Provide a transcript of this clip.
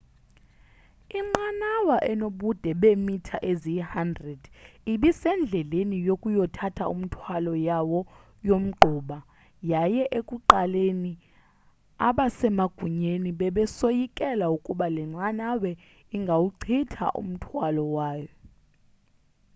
inqanawa enobude beemitha eziyi-100 ibisendleleni yokuyothatha umthwalo yawo yomgquba yaye ekuqaleni abasemagunyeni bebesoyikela ukuba le nqanawa ingawuchitha umthwalo wawo